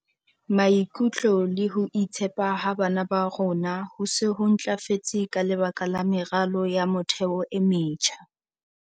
"Maikutlo le ho itshepa ha bana ba rona ho se ho ntlafetse ka lebaka la meralo ya motheo e metjha."